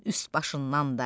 Onun üst başından da.